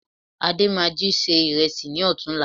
Adé máa jí se ìrẹsì lọ́tùn-únla